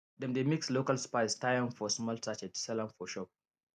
dem dey mix local spice tie am for small sachet sell for shop